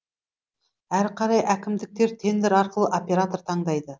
әрі қарай әкімдіктер тендер арқылы оператор таңдайды